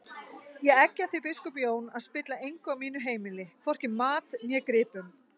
Ég eggja þig biskup Jón að spilla engu á mínu heimili, hvorki mat né gripum!